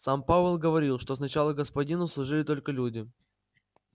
сам пауэлл говорил что сначала господину служили только люди